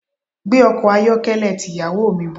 Gbé ọkọ̀ ayọ́kẹ́lẹ́ ti ìyàwó mi bọ̀.